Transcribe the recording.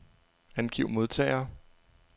Angiv modtagere.